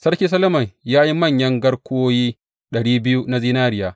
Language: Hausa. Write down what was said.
Sarki Solomon ya yi manyan garkuwoyi ɗari biyu na zinariya.